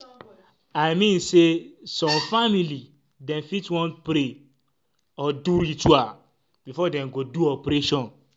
i mean say some family dem fit want pray or do ritual before dem go do operation